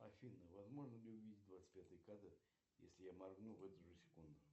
афина возможно ли увидеть двадцать пятый кадр если я моргну в эту же секунду